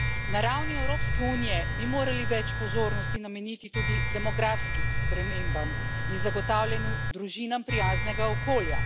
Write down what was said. Na ravni Evropske unije bi morali več pozornosti nameniti tudi demografskim spremembam in zagotavljanju družinam prijaznega okolja.